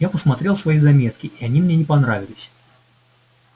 я посмотрел свои заметки и они мне не понравились